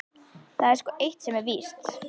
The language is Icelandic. Það er sko eitt sem er víst.